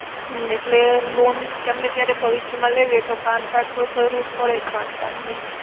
એટલે loan ગમે ત્યારે ભવિષ્ય માં લેવી હોય તો pan card તો જરૂર પડે જ pan card ની